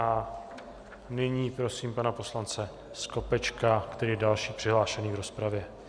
A nyní prosím pana poslance Skopečka, který je další přihlášený v rozpravě.